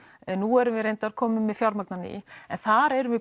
en nú erum við reyndar komin með fjármagn á ný en þar erum við